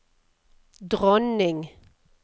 dronning